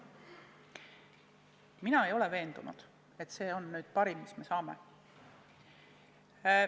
Mina ei ole veendunud, et see on nüüd võimalikest parim, mis me saame.